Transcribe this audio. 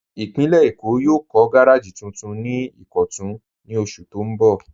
Ìpínlẹ̀ Èkó yóò kọ̀ gàràjì tuntun ni Ìkọ̀tun ní ọṣù tó n bọ́.